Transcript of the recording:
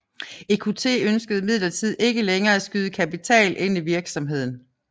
EQT ønskede imidlertid ikke længere at skyde kapital ind i virksomheden